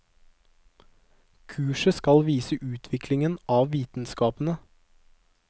Kurset skal vise utviklingen av vitenskapene.